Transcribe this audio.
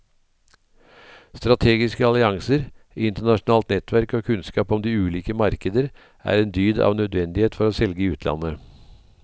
Strategiske allianser, internasjonalt nettverk og kunnskap om de ulike markeder er en dyd av nødvendighet for å selge i utlandet.